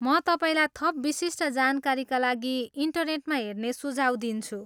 म तपाईँलाई थप विशिष्ट जानकारीका लागि इन्टरनेटमा हेर्ने सुझाव दिन्छु।